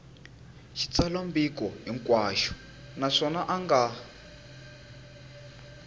xitsalwambiko hinkwaxo naswona a nga